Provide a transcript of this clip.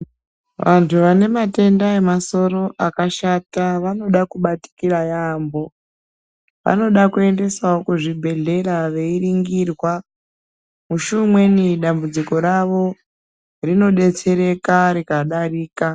Vantu vane matenda ema soro akashata vanoda kubatikira yambo vanoda kuendesawo ku zvibhedhlera veyi ningirwa musi umweni dambudziko ravo rino detsereka rika darika.